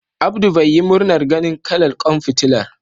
Abdu bai yi murna ganin kalar ƙwan fitilar.